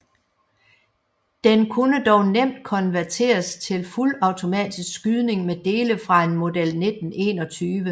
Den kunne dog nemt konverteres til fuldautomatisk skydning med dele fra en Model 1921